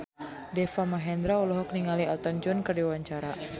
Deva Mahendra olohok ningali Elton John keur diwawancara